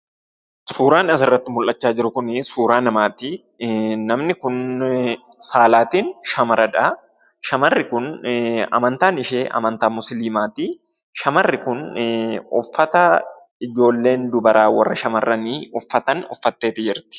Suuran asirratti mul'acha jiru kun suuraa namaati. Namnni Kun saalaatin shamaradhaa, shamarri kun amanttan ishee amanttan Musiliimaati, Shamarrii Kun uffataa ijoolleen dubaraa warra shamarranii uffataan uffatte jirati.